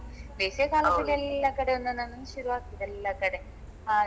ಬೇಸಿಗೆಕಾಲದ್ಲಲಿ ಎಲ್ಲ ಕಡೆ ಶುರು ಒಂದೊಂದು ಶುರು ಆಗ್ತದೆ ಎಲ್ಲ ಕಡೆ ಹಾಗೆ.